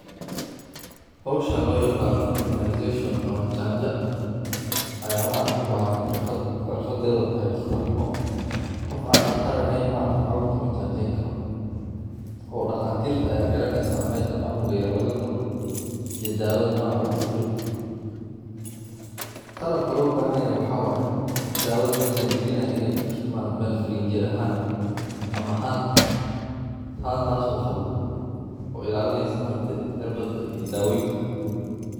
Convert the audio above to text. Howshan loyaqaano immunization ama janja Aya ubaahan xirfad , xirfadhaas oo tahy daqtarnimo. Qof aan daqtar aheyn caruurta majajeynkaro. Daqtariinta ayaa yaqaana meja canuga yar lagaduri iyo daawadha noocan laguduri. Qalabka loobahanyahy waxaa waye daawadha meja lagalinaaya iney kujirto Mel frijerahaan ama haan. Haantaas oo qawoow ilaalineysa daawoyinkani.